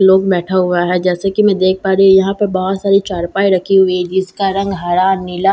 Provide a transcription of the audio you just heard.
लोग बैठा हुआ है जैसे कि मैं देख पा रही यहां पे बहोत सारी चारपाई रखी हुई है जिसका रंग हरा नीला--